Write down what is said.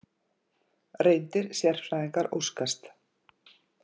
Reyndir sérfræðingar óskast